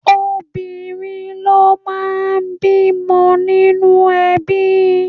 Obìnrin ló máa ń bímọ nínú ẹbí.